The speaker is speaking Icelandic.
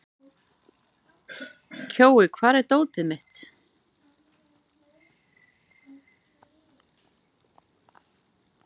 Kjói, hvar er dótið mitt?